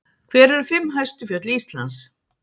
hver eru fimm hæstu fjöll íslands